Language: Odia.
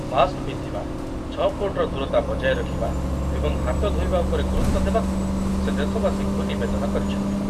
ମାସ୍କ ପିନ୍ଧିବା, ଛ ଫୁଟର ଦୂରତା ବଜାୟ ରଖିବା ଏବଂ ହାତ ଧୋଇବା ଉପରେ ଗୁରୁତ୍ୱ ଦେବାକୁ ସେ ଦେଶବାସୀଙ୍କୁ ନିବେଦନ କରିଛନ୍ତି ।